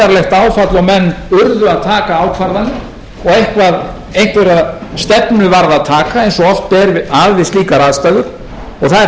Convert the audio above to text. það varð hér gríðarlegt áfall og menn urðu að taka ákvarðanir og einhverja stefnu varð að taka eins og oft er við slíkar aðstæður og það